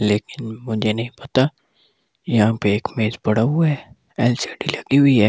लेकिन मुझे नहीं पता यहां पे एक मेज़ पड़ा हुआ है एलसीडी लगी हुई है।